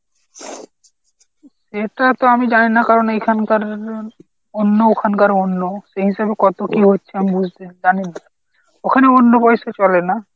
সেটা তো আমি জানি না কারণ এখানকার অন্য ওখানকার অন্য। এই হিসাবে কত কী হচ্ছে আমি বুঝতে জানি না ওখানে অন্য পয়সা চলে। না?